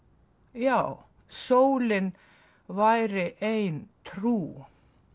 já sólin væri ein trú